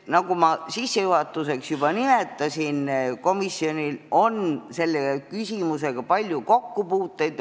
Nagu ma sissejuhatuses juba nimetasin, komisjonil on selle küsimusega olnud palju kokkupuuteid.